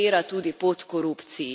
zapira tudi pot korupciji.